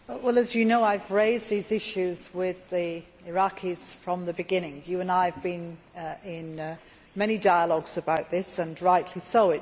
As you know, I have raised these issues with the Iraqis from the beginning. You and I have been in many dialogues about this and rightly so.